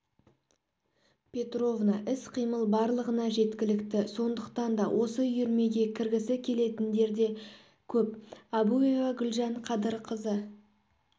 петровна іс-қимыл барлығына жеткілікті сондықтан да осы үйірмеге кіргісі келетіндер де көп әбуова гүльжан қадырқызы